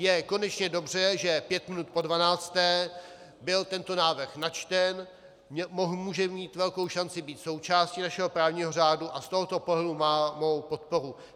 Je konečně dobře, že pět minut po dvanácté byl tento návrh načten, může mít velkou šanci být součástí našeho právního řádu a z tohoto pohledu má mou podporu.